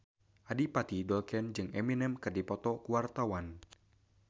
Adipati Dolken jeung Eminem keur dipoto ku wartawan